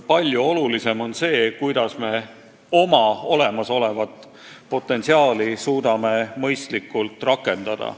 Palju tähtsam on see, kuidas me oma olemasolevat potentsiaali suudame mõistlikult rakendada.